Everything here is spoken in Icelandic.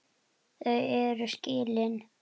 Þau eru skilin.